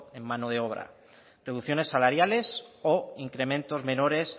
en mano de obra reducciones salariales o incrementos menores